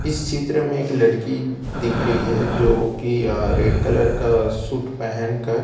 इस चित्र में एक लड़की दिख रही है जोकि अ रेड का सूट पहेन कर--